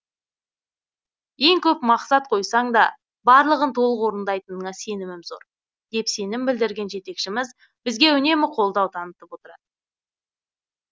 ең көп мақсат қойсаң да барлығын толық орындайтыныңа сенімім зор деп сенім білдірген жетекшіміз бізге үнемі қолдау танытып отырады